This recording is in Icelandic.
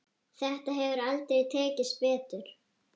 Þetta hefur aldrei tekist betur.